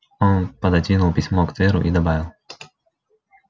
он пододвинул письмо к тверу и добавил